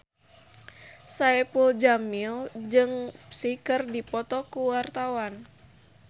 Saipul Jamil jeung Psy keur dipoto ku wartawan